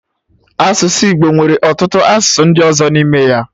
Asụsụ Igbo nwere ọtụtụ asụsụ ndị ọzọ n'ime ya